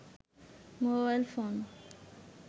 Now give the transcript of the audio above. mobile phone